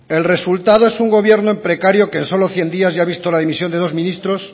el resultado es un gobierno en precario que en solo cien días ya ha visto la dimisión de dos ministros